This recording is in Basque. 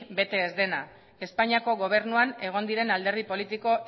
bete ez dena espainiako gobernuan egon diren alderdi politiko